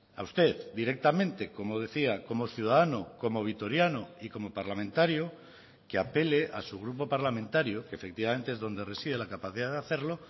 a usted directamente como decía como ciudadano como vitoriano y como parlamentario que apele a su grupo parlamentario que efectivamente es donde reside la capacidad de hacerlo